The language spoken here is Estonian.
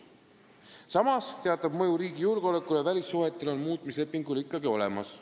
Samas on teatav mõju riigi julgeolekule ja välissuhetele muutmislepingul ikkagi olemas.